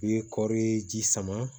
I ye kɔɔri ye ji sama